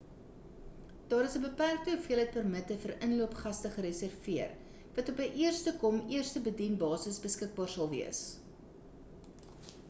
daar is 'n beperkte hoeveelheid permitte vir inloop gaste gereserveer wat op 'n eerste kom eerste bedien basis beskikbaar sal wees